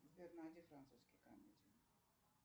сбер найди французские комедии